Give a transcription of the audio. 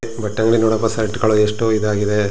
ಭಟ್ಟಂಗಿ ನೋಡಕ್ಕು ಶರ್ಟ್ ಗಳು ಎಷ್ಟು ಇದಾಗಿದೆ.